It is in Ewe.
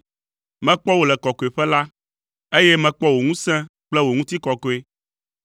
Mekpɔ wò le kɔkɔeƒe la, eye mekpɔ wò ŋusẽ kple wò ŋutikɔkɔe.